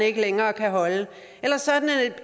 ikke længere kan holde eller sådan at